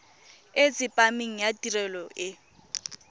e tsepameng ya tirelo e